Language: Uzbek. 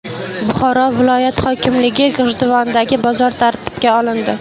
Buxoro viloyat hokimligi: G‘ijduvondagi bozor tartibga olindi.